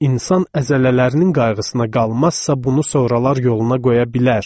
İnsan əzələlərinin qayğısına qalmazsa bunu soralar yoluna qoya bilər.